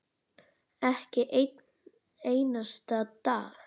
Ekki einn einasta dag.